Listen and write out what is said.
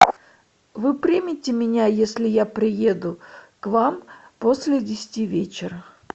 вы примете меня если я приеду к вам после десяти вечера